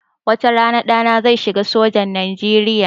Wata rana ɗana zai shiga sojan Nijeriya